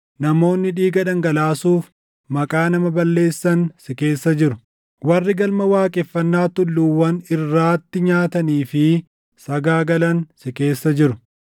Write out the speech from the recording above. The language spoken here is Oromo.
Namoonni dhiiga dhangalaasuuf maqaa nama balleessan si keessa jiru; warri galma waaqeffannaa tulluuwwan irraattii nyaatanii fi sagaagalan si keessa jiru.